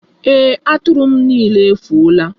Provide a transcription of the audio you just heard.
Ee, Atụrụ m niile efuola.